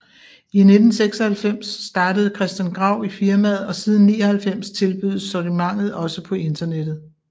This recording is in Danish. I 1996 startede Christian Grau i firmaet og siden 1999 tilbydes sortimentet også på internettet